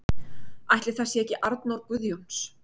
Ætli það sé ekki Arnór Guðjóns.